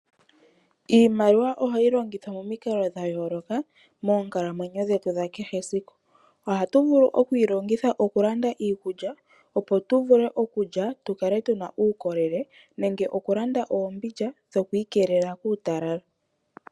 Iimaliwa ohayi longithwa momikalo dha yooloka moonkalamwenyo dhetu dha kehe esiku. Ohatu vulu okuyi longitha okulanda iikulya opo tu vule okulya tu kale tu na uukolele nemge okulanda oombindja dhokwiikelela kuutalala.